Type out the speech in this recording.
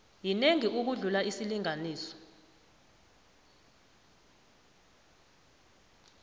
yinengi ukudlula isilinganiso